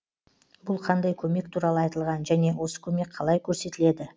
бұл қандай көмек туралы айтылған және осы көмек қалай көрсетіледі